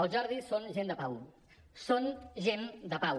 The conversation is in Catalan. els jordis són gent de pau són gent de pau